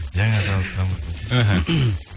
жаңа танысқанбыз десей іхі